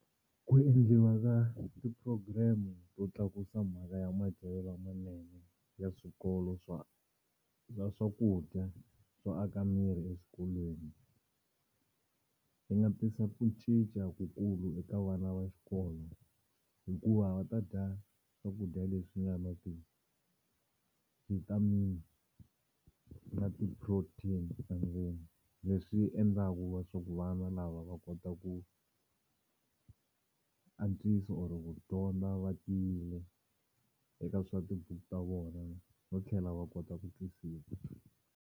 Ku endliwa ka ti-program to tlakusa mhaka ya madyelo lamanene ya swikolo swa swakudya swo aka miri exikolweni. Yi nga tisa ku cinca kukulu eka vana va xikolo hikuva va ta dya swakudya leswi nga na ti-vitamin na ti-protein leswi endlaku leswaku vana lava va kota ku antswisa or ku dyondza va tiyile eka swa tibuku ta vona no tlhela va kota ku twisisa.